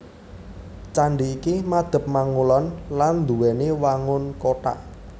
Candhi iki madhep mangulon lan nduwèni wangun kothak